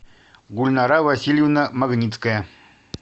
гульнара васильевна магницкая